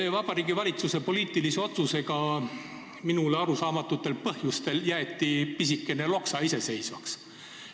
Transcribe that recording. Minule arusaamatutel põhjustel jäeti Vabariigi Valitsuse poliitilise otsusega pisikene Loksa iseseisvaks.